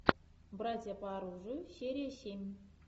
братья по оружию серия семь